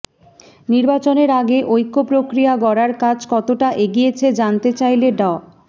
নির্বাচনের আগে ঐক্য প্রক্রিয়া গড়ার কাজ কতটা এগিয়েছে জানতে চাইলে ড